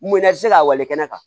Munna ti se ka wale kɛnɛ kan